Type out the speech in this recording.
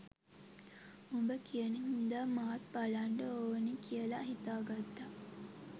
උඹ කියන හින්දම මාත් බලන්ඩ ඕනි කියලා හිතාගත්තා